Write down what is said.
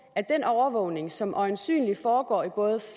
at den overvågning som øjensynlig foregår i både